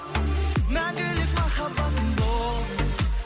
мәңгілік махаббатым бол